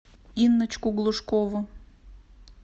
инночку глушкову